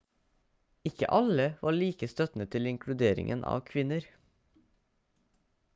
ikke alle var like støttende til inkluderingen av kvinner